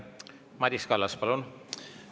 Madis Kallas, palun!